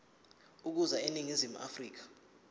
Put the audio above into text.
ukuza eningizimu afrika